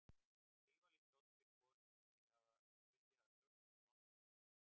Tilvalinn kjóll fyrir konur sem vilja að brjóstin njóti sín vel.